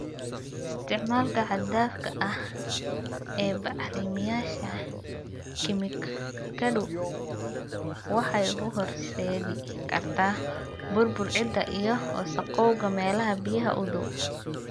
Isticmaalka xad dhaafka ah ee bacrimiyeyaasha kiimikadu waxay u horseedi kartaa burbur ciidda iyo wasakhowga meelaha biyaha u dhow.